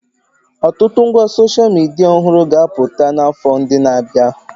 Ọtụtụ ngwa soshal midia ọhụrụ ga-abpụta n'afọ ndị na-abịa.